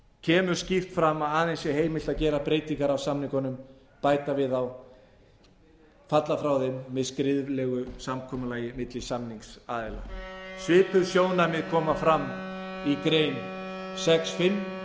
kemur skýrt fram að aðeins sé heimilt að gera breytingar á samningunum bæta við þá eða falla frá þeim með skriflegu samkomulagi milli samningsaðila svipuð sjónarmið koma fram á grein sex fimm